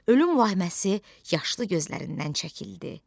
Ölüm vəhməsi yaşlı gözlərindən çəkildi.